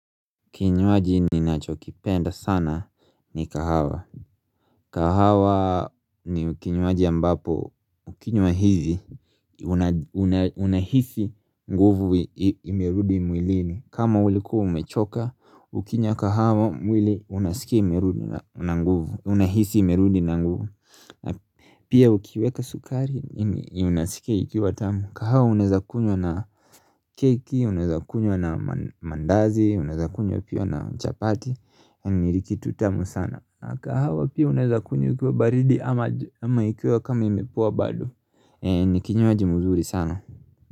Kinywaji ni nacho kipenda sana ni kahawa kahawa ni kinywaji ambapo ukinywa hivi unahisi nguvu imerudi mwilini kama ulikuwa umechoka ukinywa kahawa mwili unasikia imerudi na nguvu Unahisi imerudi na nguvu Pia ukiweka sukari Unasikia ikiwa tamu kahawa unaeza kunywa na keki Unazakunywa na mandazi Unazakunywa pia na chapati ni kitu tamu sana kahawa pia unaezakunywa ikiwa baridi ama ikiwa kama imepoa bado Nikinywaji muzuri sana.